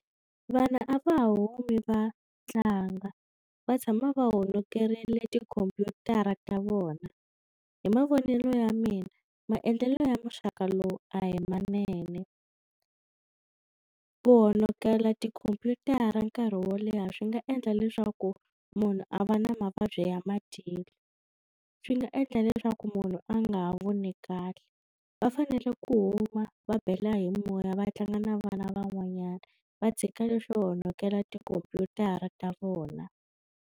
Vanhu a va humi va tlanga va tshama va honokerile tikhompyutara ta vona hi mavonelo ya mina maendlelo ya muxaka lowu a hi manene ku honokela tikhompyutara nkarhi wo leha swi nga endla leswaku munhu a va na mavabyi ya madyelo swi nga endla leswaku munhu a nga va ha voni kahle va fanele ku huma va bela hi moya va tlanga na vana van'wanyana va tshika leswo honokela tikhompyutara ta vona.